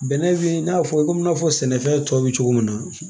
Bɛnɛ be i n'a fɔ i komi i n'a fɔ sɛnɛfɛn tɔ bɛ cogo min na